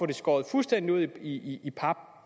det skåret fuldstændig ud i pap